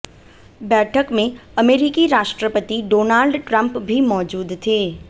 बैठक में अमेरिकी राष्ट्रपति डोनाल्ड ट्रंप भी मौजूद थे